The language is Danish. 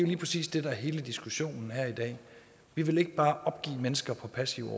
lige præcis det der er hele diskussionen her i dag vi vil ikke bare opgive mennesker på passiv